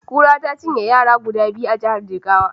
Kura ta cinye yara guda biyu a jiyar Jigawa.